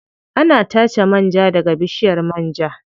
Ana tace man ja daga bishiyar man ja.